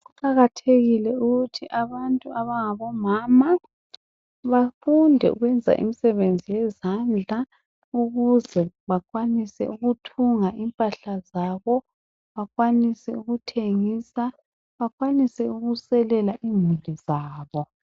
Kuqakathekile ukuthi abantu abangabo mama bafunde ukwenza imisebenzi yezandla ukuze bakwanise ukuthunga impahla zabo, bakwanise ukuthengise, bakwanise ukuselela imuli zabo.